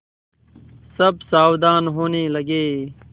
सब सावधान होने लगे